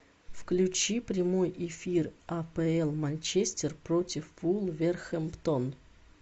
включи прямой эфир апл манчестер против вулверхэмптон